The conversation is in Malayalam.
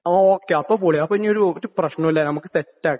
ഓ, അപ്പൊ പൊളി.അപ്പൊ ഇനി ഒരു പ്രശ്നവുമില്ല, നമുക്ക് സെറ്റ് ആക്കാം.